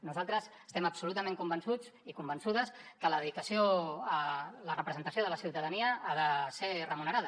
nosaltres estem absolutament convençuts i convençudes que la dedicació a la representació de la ciutadania ha de ser remunerada